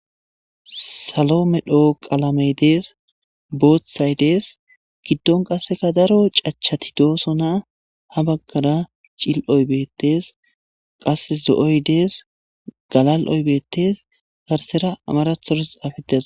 salo medho qalamey dees boothay dees giddon qasseka daro cachati doosona ha baggara cili'oy bettes qas zo'oy dees galali'oy bettes garsera amarathora xafetiday dees